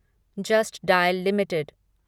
just dial limited